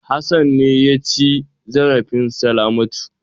Hassan ne ya ci zarafin Salamatu.